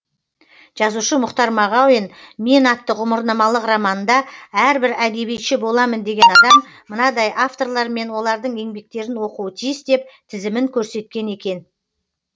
жазушы мұхтар мағауин мен атты ғұмырнамалық романында әрбір әдебиетші боламын деген адам мынадай авторлар мен олардың еңбектерін оқуы тиіс деп тізімін көрсеткен екен